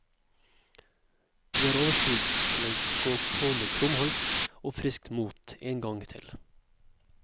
Vi har overskudd til å gå på med krum hals og friskt mot én gang til.